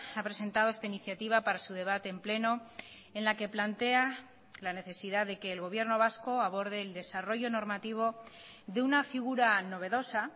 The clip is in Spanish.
ha presentado esta iniciativa para su debate en pleno en la que plantea la necesidad de que el gobierno vasco aborde el desarrollo normativo de una figura novedosa